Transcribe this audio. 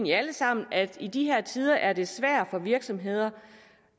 jo alle sammen at i de her tider er det svært for virksomhederne